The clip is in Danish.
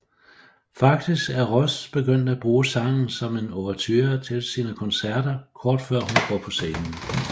Faktisk er Ross begyndt at bruge sangen som en overture til sine koncerter kort før hun går på scenen